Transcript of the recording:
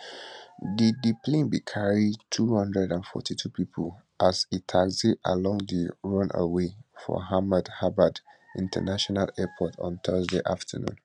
di di plane bin carry 242 pipo as e taxi along di runway for ahmedabad international airport on thursday afternoon